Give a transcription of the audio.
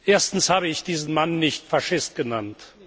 Erstens habe ich diesen Mann nicht Faschist genannt.